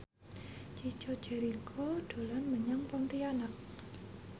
Chico Jericho dolan menyang Pontianak